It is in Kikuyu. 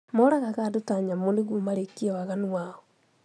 Moragaga andũ ta nyamũ nĩguo marĩkie waganu wao